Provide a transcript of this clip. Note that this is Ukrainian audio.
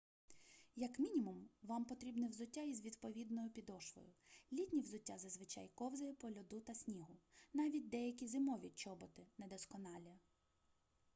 як мінімум вам потрібне взуття із відповідною підошвою літнє взуття зазвичай ковзає по льоду та снігу навіть деякі зимові чоботи недосконалі